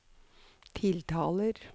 tiltaler